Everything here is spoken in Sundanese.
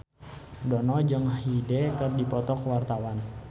Dono jeung Hyde keur dipoto ku wartawan